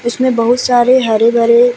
इसमें बहुत सारे हरे भरे --